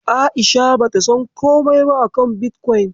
A'isha bata san komai ba akan bitkwaun.